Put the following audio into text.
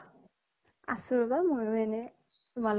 আছো ৰবা ময়ো এনে। তোমাৰ